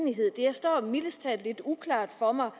står mildest talt lidt uklart for mig